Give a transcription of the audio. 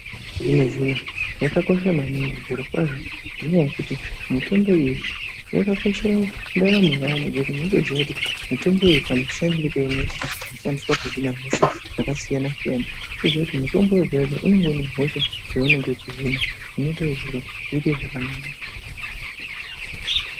Zvino zvino yakakosha maningi zviro kwazvo ngenyaya yekuti mitombo iyi yakakoshera ndaramo yaantu ngekuti unotoziya kuti mitombo iyi kamushandire keinoita pakushandisa kuhina hosha dzakasiyana siyana wotoziye kuti mutombo wega wega unenge une hosha yeunenge wechihina unoite kuti zviro zviite zvakanaka.